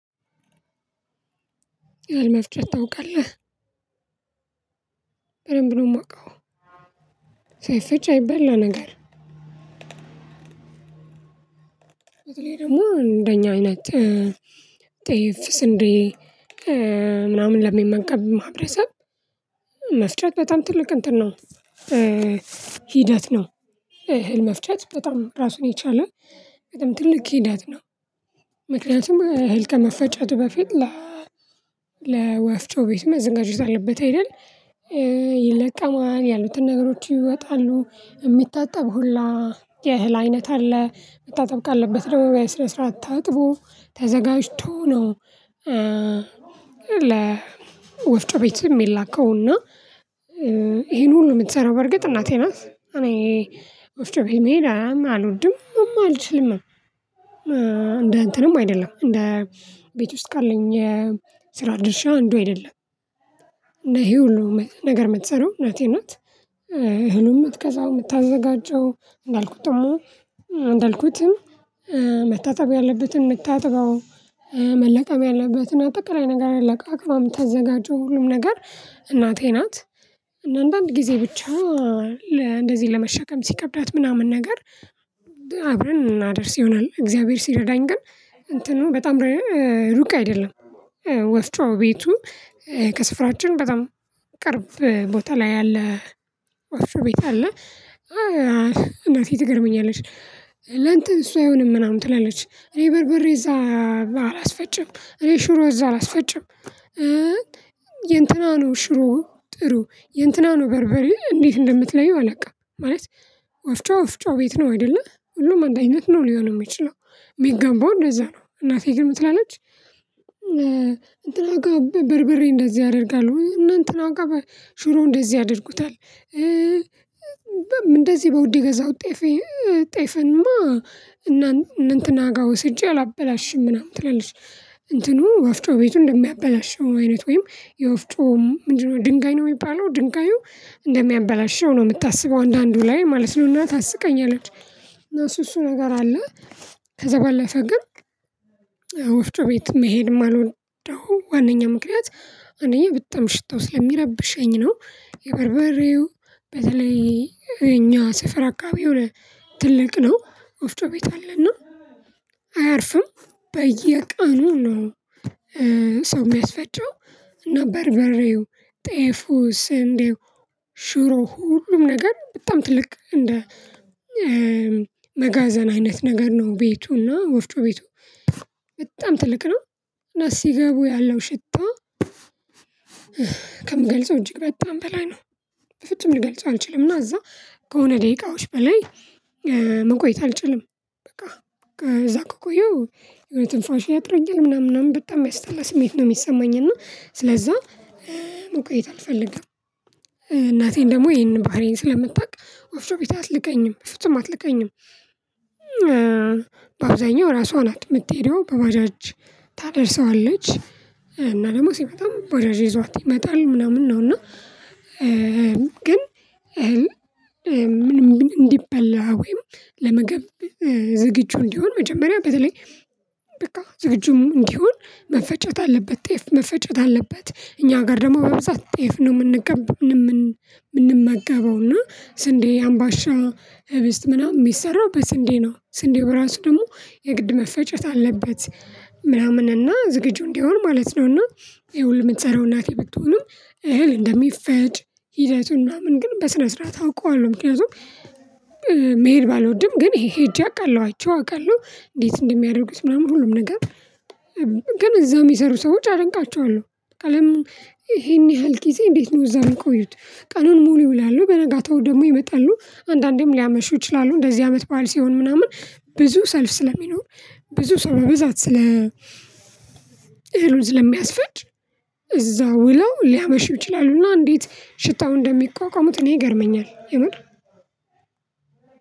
እህል መፍጨት ታውቃለህ በደንብ ነው የማውቀው ሳይፈጭ አይበላ ነገር። እኔ ደግሞ እንደኛ አይነት ጤፍ ስንዴ ምናምን ለሚመገብ ማህበረሰብ መፍጨት በጣም ትልቅ እንትን ነው። ሂደት ነው። እህል መፍጨት በጣም ራሱን የቻለ በጣም ትልቅ ሂደት ነው። ምክንያቱም እህል ከመፈጨቱ በፊት ላ ለወፍጮ ቤት መዘጋጀት አለበት አይደል? ይለቀማል ያሉትን ነገሮች ይወጣሉ የሚታጠብ ሁላ የእህል አይነት አለ መታጠብ ካለበት ደግሞ በስነ ስርዓት ታጥቦ ተዘጋጅቶ ነው። ለ ወፍጮ ቤት የሚላከው እና ይሄን ሁሉ የምትሰራው በርግጥ እናቴ ናት። እኔ ወፍጮ ቤት መሄድ አልወድምም አልችልምም። እንደ እንትንም አይደለም እንደ ቤት ውስጥ ካለኝ ስራ ድርሻ አንዱ አይደለም። ይሄ ሁሉ ነገር የምትሰራው እናቴ ናት። እህሉን የምትገዛው የምታዘጋጀው እንዳልኩት ደግሞ እንዳልኩትም መታጠብ ያለበትን የምታጥበው መለቀም ያለበትን አጠቃላይ ነገር ለቃቅማ የምታዘጋጀው ሁሉም ነገር እናቴ ናት። እና አንዳንድ ጊዜ ብቻ እንደዚህ ለመሸከም ሲከብዳት ምናምን ነገር አብረን እናደርስ ይሆናል። እግዚአብሔር ሲረዳኝ ግን እንትኑ በጣም ሩቅ አይደለም። ወፍጮ ቤቱ ከስፍራችን በጣም ቅርብ ቦታ ላይ ያለ ወፍጮ ቤት አለ። እናቴ ትገርመኛለሽ ለእንትን እሱ አይሆንም ምናምን ትላለች እኔ በርበሬ እዛ አላስፈጭም እኔ ሽሮ እዛ አላስፈጭም። የእንትና ነው ሽሮ ጥሩ የእንትና ነው በርበሬ እንዴት እንደምትለይው አላውቅም። ማለት ወፍጮ ወፍጮ ቤት ነው አይደለ ሁሉም አንድ አይነት ነው ሊሆን የሚችለው የሚገባው እንደዛ ነው እናቴ ግን ምንትላለች። እንትና ጋር በርበሬ እንደዚህ ያደርጋሉ እነ እንትና ጋር ሽሮ እንደዚህ ያደርጉታል። እንደዚህ በውድ የገዛሁት ጤፍ ጤፍማ እነ እንትና ጋር ወስጄ አላበላሽም ምናምን ትላለች። እንትኑ ወፍጮ ቤቱ እንደሚያበላሸው አይነት ወይም የወፍጮ ምንድነው ድንጋይ ነው የሚባለው ድንጋዩ እንደሚያበላሸው ነው የምታስበው አንዳንዱ ላይ ማለት ነው እና ታስቀኛለች። እሱ እሱ ነገር አለ። ከዛ ባለፈ ግን ወፍጮ ቤት መሄድ የማልወደው ዋናኛ ምክንያት አንደኛ በጣም ሽታው ስለሚረብሸኝ ነው። የበርበሬው በተለይ እኛ ሰፈር አካባቢ ትልቅ ነው ወፍጮ ቤት አለና አያርፍም በየቀኑ ነው። ሰው የሚያስፈጨው እና በርበሬው ጤፉ ስንዴው ሽሮ ሁሉም ነገር በጣም ትልቅ እንደ መጋዘን አይነት ነገር ነው። ቤቱና ወፍጮ ቤቱ በጣም ትልቅ ነው። እና ሲገቡ ያለው ሽታ ከምገልጸው እጅግ በጣም በላይ ነው። በፍጹም ልገልጸው አልችልም እና እዛ ከሆነ ደቂቃዎች በላይ መቆየት አልችልም። በቃ ከዛ ከቆየው የሆነ ትንፋሽ ያጥረኛል ምናምን ምናምን በጣም የሚያስጠላ ስሜት ነው የሚሰማኝ። እና ስለዛ መቆየት አልፈልግም። እናቴን ደግሞ ይሄንን ባህሪዬን ስለምታውቅ ወፍጮ ቤት አትልከኝም በፍጹም አትልከኝም። በአውዛኛው ራሷ ናት የምትሄደው በባጃጅ ታደርሰዋለች እና ደግሞ ሲመጣም ባጃጅ ይዟት ይመጣል ምናምን ነው። እና ግን እህል ምንም እንዲበላ ወይም ለምግብ ዝግጁ እንዲሆን መጀመሪያ በተለይ በቃ ዝግጁም እንዲሆን መፈጨት አለበት ጤፍ መፈጨት አለበት እኛ ጋር ደግሞ በብዛት ጤፍ ነው የምንገባው የምንመገበው እና ስንዴ አምባሻ ህብስት ምናምን የሚሰራው በስንዴ ነው ስንዴው ራሱ ደግሞ የግድ መፈጨት አለበት። ምናምን እና ዝግጁ እንዲሆን ማለት ነውና ይሄሁሉ የምትሰራው እናቴ ብትሆንም እህል እንደሚፈጭ ሂደቱን ምናምን ግን በስነ ስርዓት አውቀዋለሁ። ምክንያቱም መሄድ ባልወድም ግን ይሄ እጄ አውቃለሁ አይቼው አውቃለሁ እንዴት እንደሚያደርጉት ምናምን ሁሉም ነገር። ግን እዛው የሚሰሩ ሰዎች አደንቃቸዋለሁ። ቀለሙ ይሄን ያህል ጊዜ እንዴት ነው እዛው የሚቆዩት ቀኑን ሙሉ ይውላሉ በነጋታው ደግሞ ይመጣሉ አንዳንዴም ሊያመሹ ይችላሉ እንደዚህ አመት በዓል ሲሆን ምናምን ብዙ ሰልፍ ስለሚኖር ብዙ ሰው በብዛት ስለ እህሉን ስለሚያስፈጭ እዛው ውለው ሊያመሹ ይችላሉና። እንዴት ሽታውን እንደሚቋቋሙት እኔ ይገርመኛል የምር።